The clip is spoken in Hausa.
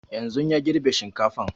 Yanzun ya girbe shinkafan